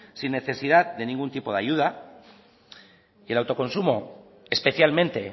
sin necesidad de ningún tipo de ayuda y el autoconsumo especialmente